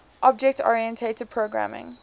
object oriented programming